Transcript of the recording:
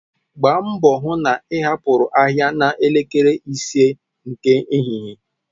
Gbaa mbo hu na ị hapụru ahịa na elekere ise nke ehihie.